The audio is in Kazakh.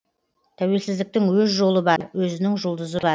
тәуелсіздіктің өз жолы бар өзінің жұлдызы бар